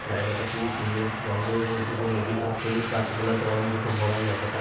জায়গাটা খুবই সুন্দর জঙ্গলের মধ্যে দিয়ে নদীটা সবুজ গাছপালাতে ওরঙ্গতে ভরা জায়গাটা।